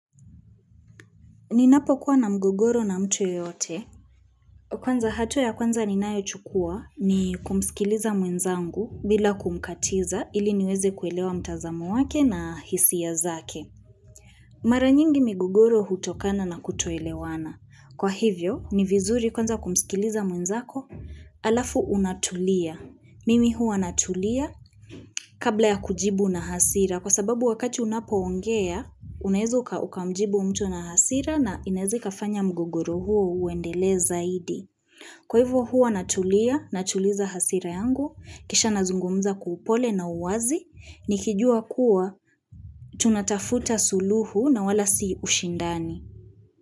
Ninapokuwa na mgogoro na mtu yeyote, kwanza hatua ya kwanza ninayochukua ni kumsikiliza mwenzangu bila kumkatiza ili niweze kuelewa mtazamo wake na hisia zake. Mara nyingi migogoro hutokana na kutoelewana. Kwa hivyo, ni vizuri kwanza kumsikiliza mwenzako, alafu unatulia. Mimi huwa natulia kabla ya kujibu na hasira kwa sababu wakati unapoongea, unaezu ukamjibu mtu na hasira na inaeza ikafanya mgogoro huo uendele zaidi. Kwa hivyo huwa natulia, natuliza hasira yangu, kisha nazungumza kwa upole na uwazi, nikijua kuwa tunatafuta suluhu na wala si ushindani.